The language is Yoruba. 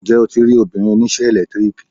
Ǹjẹ́ o ti rí obìnrin oníṣẹ́ ẹ̀lẹ́tíríkì?